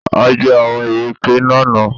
A jẹ àwọn ìrèké lánàá